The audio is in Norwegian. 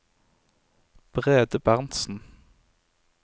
Brede Berntzen